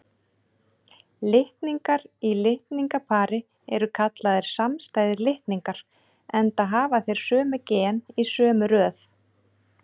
Litningar í litningapari eru kallaðir samstæðir litningar, enda hafa þeir sömu gen í sömu röð.